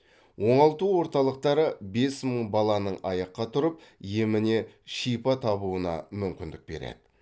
оңалту орталықтары бес мың баланың аяққа тұрып еміне шипа табуына мүмкіндік береді